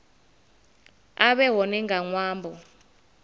a vhe hone nga ṅwambo